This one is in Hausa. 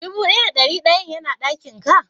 Dubu daya da dari dayan yana dakin ka?